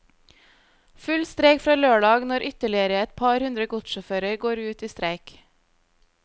Full streik fra lørdag når ytterligere et par hundre godssjåfører går ut i streik.